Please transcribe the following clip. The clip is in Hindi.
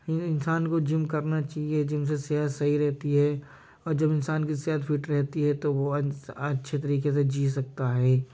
हर इंसान को जिम करना चाहिए। जिम से सेहत सही रहती है और जब इन्सान की सेहत फिट रहती है तो वह इंसान अ-अच्छे तरीके से जी सकता है।